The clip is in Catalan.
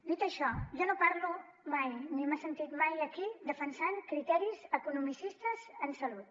dit això jo no parlo mai ni m’ha sentit mai aquí defensant criteris economicistes en salut